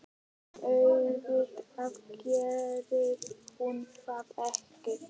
En auðvitað gerði hún það ekki.